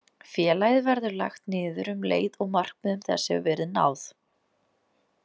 Félagið verður lagt niður um leið og markmiðum þess hefur verið náð.